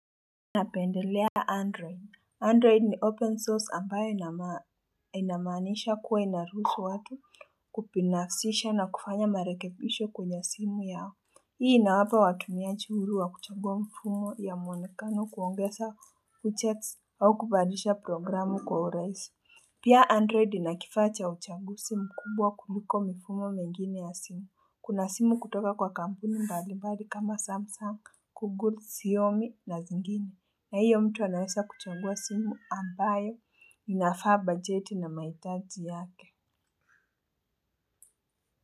Napendelea android, android ni open source ambayo inamanisha kuwa inaruhusu watu kupinasisha na kufanya marekebisho kwenye simu yao. Hii inawapa watumiaji uhuru wa kuchangua mfumo ya mwonekano kuongeza uchex au kubadilisha programu kwa urahisi. Pia android ina kifaa cha uchanguzi mkubwa kuliko mifumo mengine ya simu. Kuna simu kutoka kwa kampuni mbali mbali kama samsung Google Xiomi na zingine na hiyo mtu anaweza kuchagua simu ambayo inafaa budget na mahitaji yake.